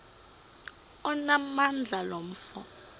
onamandla lo mfo